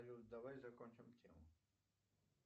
салют давай закончим тему